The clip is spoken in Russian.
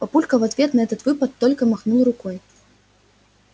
папулька в ответ на этот выпад только махнул рукой